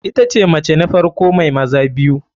Itace mace ta farko mai maza biyu.